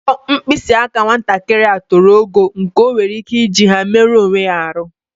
Mpọ mpkịsị aka nwatakịrị a toro ogo nke o nwere ike iji ha meruo onwe ya arụ.